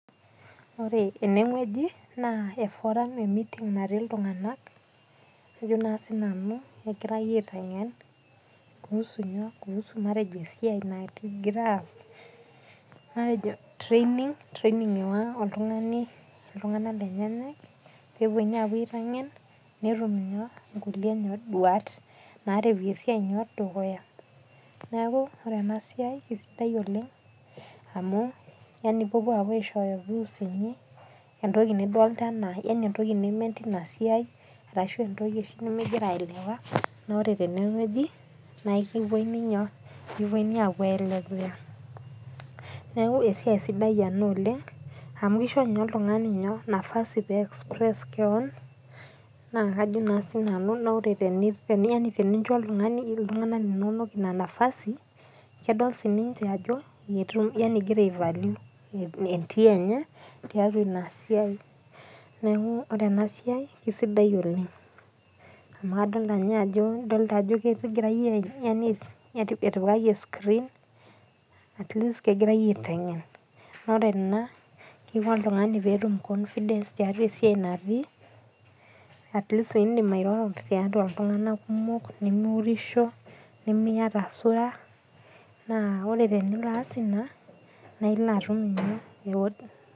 Ore ene wueji naa e forum, emeeting natii iltung'ana, ajo naa sii nanu kegirai aiteng'en kuusu matejo esiai nagira aas, matejo training ewaya oltung'ani iltung'ana lenyenak pewuoi apuo aiteng'en netum inkulie duat nerewie esiai dukuya. Neaku ore ena siai eisidai oleng' yani opuopuo aishooyo views inyi, entoki nidolita anaa entoki nimen teina siai arashu entoki oshi nimingira oshi aelewa, naa ore tene wueji naa kipununu apuo aiteng'en. Neaku esiai sidai ena oleng', amu keisho ninye oltung'ani nafasi pee eiexpress kewon, naa kajo naa siinanu ore tenincho iltung'ana linono Ina napasi kedol siininche ajo, yani ingira aivalue entii enye tiatua ina siai. Neaku ore ena siai keisidai oleng' amu adolita ninye ajo ketii etipikaki escreen, at least kegirai aiteng'en, naa ore ena keisho oltung'ani pee etum confidence tiatua esiai natii, at least indim airoro tiatua iltung'ana kumok, nimiureisho, nimiata suraa naa ore tenias Ina naa ilo atum .